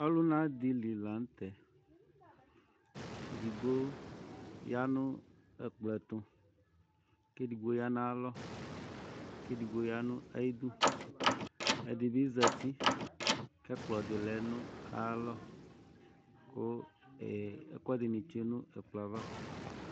Ɔlʋna dɩ li la nʋ tɛ Edigbo ya nʋ ɛkplɔ ɛtʋ kʋ edigbo ya nʋ ayalɔ kʋ edigbo ya nʋ ayidu Ɛdɩ bɩ zati kʋ ɛkplɔ dɩ lɛ nʋ ayalɔ kʋ ee ɛkʋɛdɩnɩ tsue nʋ ɛkplɔ yɛ ava